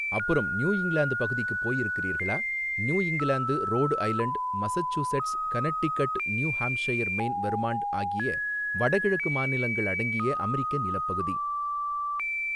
அப்புறம் New England பகுதிக்குப் போயிருக்கிறீர்களா New England Rhode Island Massachusetts Connecticut New Hampshire Maine Vermont ஆகிய வடகிழக்கு மாநிலங்கள் அடங்கிய அமெரிக்க நிலப்பகுதி.